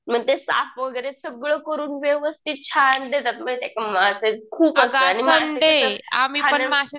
मग ते साफ वगैरे सगळं करून व्यवस्थित छान देतात. माहितीये का माश्याचे खूप असते